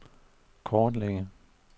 kortlægge